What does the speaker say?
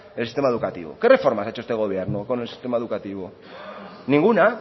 en el sistema educativo qué reformas ha hecho este gobierno con el sistema educativo ninguna